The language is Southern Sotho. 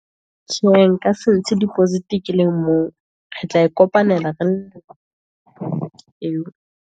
Tjhe, nka se ntshe deposit ke le mong, re tla kopanela eo.